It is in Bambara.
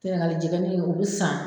Sɛnɛgali jɛgɛni o bi san